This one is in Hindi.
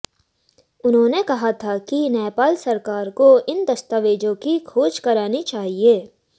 उन्होंने कहा था कि नेपाल सरकार को इन दस्तावेज़ों की खोज करानी चाहिए